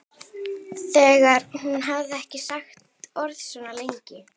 Þegar hún hafði ekki sagt orð svona lengi.